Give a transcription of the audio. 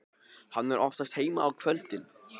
Hann er oftast heima á kvöldin.